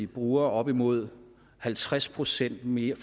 bruger op imod halvtreds procent mere